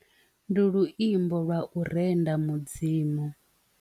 Ndi luimbo lwa u renda mudzimu.